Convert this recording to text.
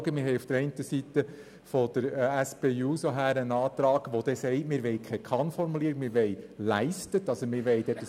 Auf der einen Seite haben wir von der SP-JUSO-PSA-Fraktion einen Antrag, der keine «Kann-Formulierung» will, sondern ein «Leistet» verlangt.